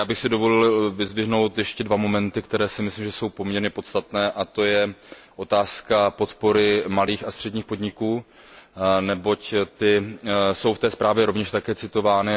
Já bych si dovolil vyzdvihnout ještě dva momenty, které si myslím, že jsou poměrně podstatné, a to je otázka podpory malých a středních podniků, neboť ty jsou ve zprávě rovněž citovány.